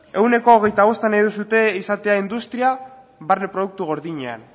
ehuneko hogeita bosta nahi duzue izatea industria barne produktu gordinean